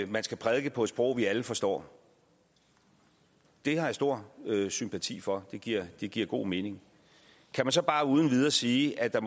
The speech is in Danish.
man skal prædike på et sprog vi alle forstår har jeg stor sympati for det giver det giver god mening kan man så bare uden videre sige at der